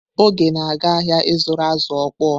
Oge na-aga ahịa ịzụrụ azụ̀ okpoo.